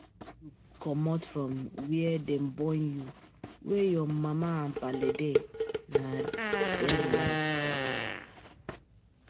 When u comot from where Dem born u, where ur mama n pale dey nah then life start